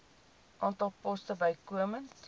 aantal poste bykomend